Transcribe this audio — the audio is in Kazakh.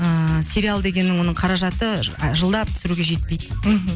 ыыы сериал дегеннің оның қаражаты жылдап түсіруге жетпейді мхм